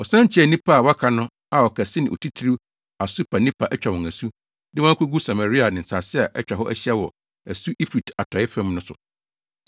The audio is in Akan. Wɔsan kyiaa nnipa a wɔaka no a ɔkɛse ne otitiriw Asurbanipa atwa wɔn asu, de wɔn akogu Samaria ne nsase a atwa hɔ ahyia wɔ asu Eufrate atɔe fam no so no.